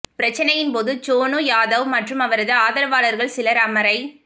பிரச்னையின் போது சோனு யாத்வ் மற்றும் அவரது ஆதரவாளர்கள் சிலர் அமரை